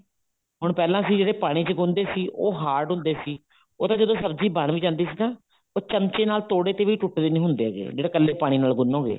ਹੁਣ ਪਹਿਲਾਂ ਅਸੀਂ ਜਿਹੜੇ ਪਾਣੀ ਚ ਗੁੰਨ ਦੇ ਸੀ ਉਹ hard ਹੁੰਦੇ ਸੀ ਉਹ ਜਦੋਂ ਸਬਜ਼ੀ ਬਣ ਵੀ ਜਾਂਦੀ ਸੀ ਨਾ ਉਹ ਚਮਚੇ ਨਾਲ ਤੋੜੇ ਤੇ ਵੀ ਟੁੱਟਦੇ ਨੀ ਹੁੰਦੇ ਤੇ ਜਿਹੜੇ ਕੱਲੇ ਪਾਣੀ ਨਾਲ ਗੁੰਨੋਗੇ